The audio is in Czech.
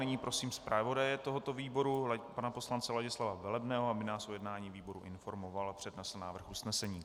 CNyní prosím zpravodaje tohoto výboru pana poslance Ladislava Velebného, aby nás o jednání výboru informoval a přednesl návrh usnesení.